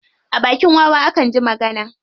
A bakin wawa akan ji magana.